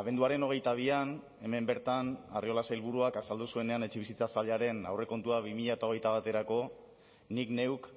abenduaren hogeita bian hemen bertan arriola sailburuak azaldu zuenean etxebizitza sailaren aurrekontua bi mila hogeita baterako nik neuk